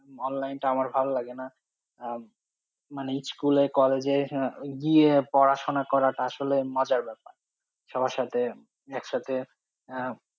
online টা আমার ভালো লাগে না আহ মানে school এ college এ গিয়ে পড়াশোনা করাটা আসলে মজার ব্যাপার সবার সাথে একসাথে আহ